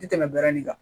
Ti tɛmɛ dɔrɔn ni kan